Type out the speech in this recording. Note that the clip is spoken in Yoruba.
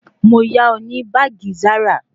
Mo yá ọ ní báàgì Zara